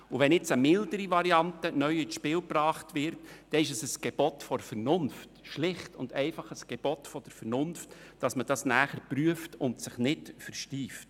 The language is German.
Wenn jetzt eine mildere Variante ins Spiel gebracht wird, ist es ein Gebot der Vernunft – schlicht und einfach ein Gebot der Vernunft –, dass man diese prüft und sich nicht versteift.